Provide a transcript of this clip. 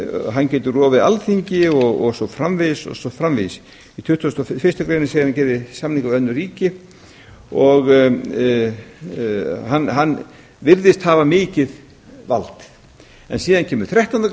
hann getur rofið alþingi og svo framvegis og svo framvegis í tuttugasta og fyrstu grein segir að hann geri samninga við önnur ríki hann virðist hafa mikið vald en síðan kemur þrettándu